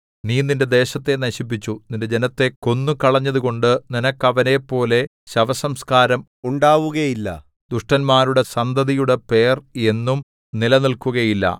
നീ നിന്റെ ദേശത്തെ നശിപ്പിച്ചു നിന്റെ ജനത്തെ കൊന്നുകളഞ്ഞതുകൊണ്ടു നിനക്ക് അവരെപ്പോലെ ശവസംസ്കാരം ഉണ്ടാവുകയില്ല ദുഷ്ടന്മാരുടെ സന്തതിയുടെ പേർ എന്നും നിലനില്‍ക്കുകയില്ല